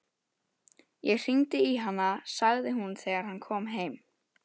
Ég hringdi í hana, sagði hún þegar hann kom heim.